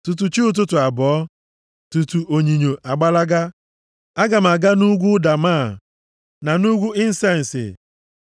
Tutu chi ụtụtụ abọọ, tutu onyinyo agbalaga, aga m aga nʼugwu ụda máá na nʼugwu insensi.